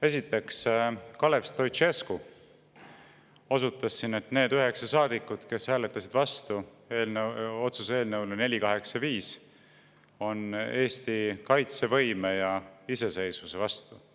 Esiteks, Kalev Stoicescu osutas siin, et need üheksa saadikut, kes hääletasid otsuse eelnõu 485 vastu, on Eesti kaitsevõime ja iseseisvuse vastu.